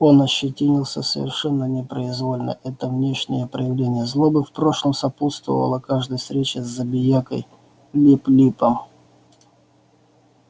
он ощетинился совершенно непроизвольно это внешнее проявление злобы в прошлом сопутствовало каждой встрече с забиякой лип липом